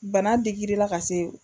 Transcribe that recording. Bana digir'ila ka se